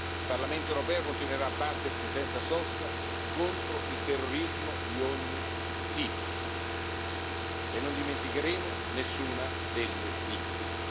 Il Parlamento europeo continuerà a battersi senza sosta contro il terrorismo di ogni tipo e non dimenticheremo nessuna delle vittime.